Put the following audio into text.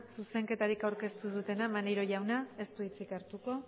zuzenketarik aurkeztu ez dutenak maneiro jauna ez du hitzik hartuko